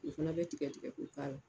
U fana bɛ tigɛ tigɛ k'o k'a la